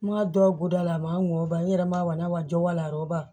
N m'a dɔn guda la a ma n wɔ n yɛrɛ ma walanjɔ wala a yɔrɔ